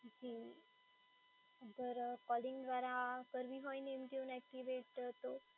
જી, અગર કોલિંગ દ્વારા કરવી હોય name tune એક્ટિવેટ તો?